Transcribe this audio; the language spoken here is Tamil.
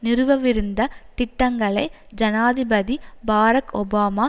நிறுவவிருந்த திட்டங்களை ஜனாதிபதி பாரக் ஒபாமா